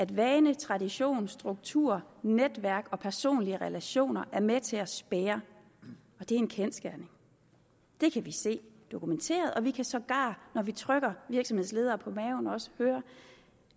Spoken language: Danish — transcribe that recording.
vane tradition struktur netværk og personlige relationer er med til at spærre og det er en kendsgerning det kan vi se dokumenteret og vi kan sågar når vi trykker virksomhedsledere på maven høre